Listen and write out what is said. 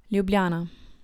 Ljubljana.